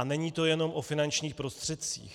A není to jenom o finančních prostředcích.